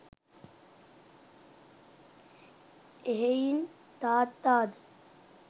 එහෙයින් තාත්තාද